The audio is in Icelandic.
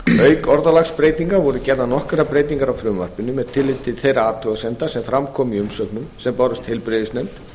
auk orðalagsbreytinga voru gerðar nokkrar breytingar á frumvarpinu með tilliti til þeirra athugasemda sem fram komu í umsögnum sem bárust heilbrigðisnefnd